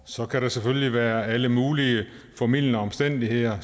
så kan der selvfølgelig være alle mulige formildende omstændigheder